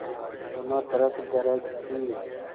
दोनों तरफ गरज थी